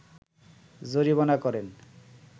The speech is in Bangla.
জরিমানা করেন